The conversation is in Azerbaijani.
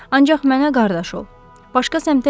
Ancaq mənə qardaş ol, başqa səmtə yayınma külək.